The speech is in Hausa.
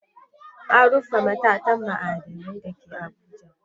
An rufe matatar ma'adinai da ke Abuja.